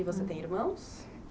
E você tem irmãos?